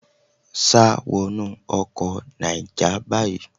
Sá wọnú ọkọ Náíjà báyìí.